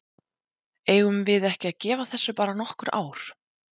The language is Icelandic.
Eigum við ekki að gefa þessu bara nokkur ár?